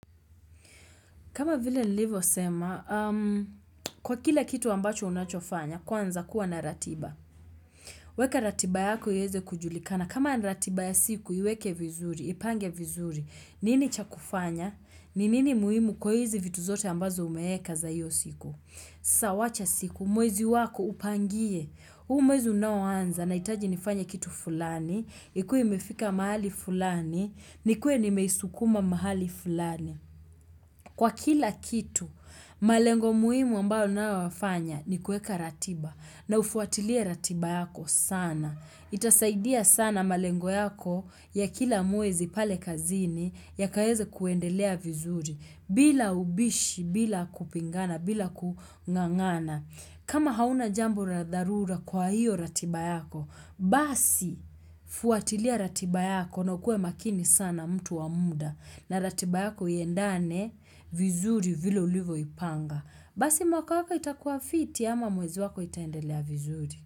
Kama vile nilivosema, kwa kila kitu ambacho unachofanya, kwanza kuwa na ratiba. Weka ratiba yako iweze kujulikana kama ni ratiba ya siku, iweke vizuri, ipange vizuri. Nini cha kufanya? Ni nini muhimu kwa hizi vitu zote ambazo umeweka za hiyo siku? Sasa wacha siku, mwezi wako upangie. Huu mwezi unaoanza nahitaji nifanya kitu fulani, ikue imefika mahali fulani, nikue nimeisukuma mahali fulani. Kwa kila kitu, malengo muhimu ambao unayoyafanya ni kueka ratiba na ufuatilie ratiba yako sana. Itasaidia sana malengo yako ya kila mwezi pale kazini yakaweze kuendelea vizuri bila ubishi, bila kupingana, bila kung'ang'ana. Kama hauna jambo la darura kwa hiyo ratiba yako, basi fuatilia ratiba yako na ukue makini sana mtu wa muda na ratiba yako iendane vizuri vile ulivyo ipanga. Basi mwaka wako itakuwa fiti ama mwezi wako itaendelea vizuri.